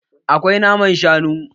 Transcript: Akwai naman shanu?